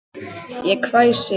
Ég hvæsi.